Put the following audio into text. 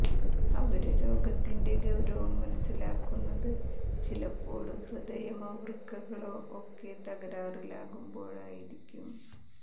അവര് രോഗത്തിന്റെ ഗൌരവം മനസിലാക്കുന്നത് ചിലപ്പോള് ഹൃദയമോ വൃക്കകളോ ഒക്കെ തകരാറിലാകുമ്പോഴായിരിക്കും